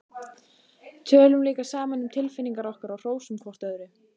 Tölum líka saman um tilfinningar okkar og hrósum hvort öðru.